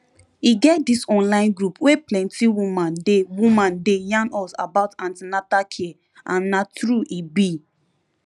e get this online group wey plenty woman dey woman dey yarn us about an ten atal care and na truth e be